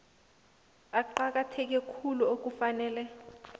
eqakatheke khulu okufanele